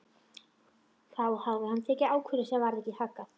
Þá hafði hann tekið ákvörðun sem varð ekki haggað.